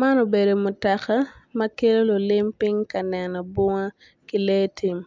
Man obedo mutoka ma kelo lulim piny ka neno bunga ki lee tim